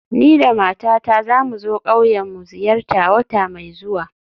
Ni da matata za mu zo ƙauyen mu ziyarta wata mai zuwa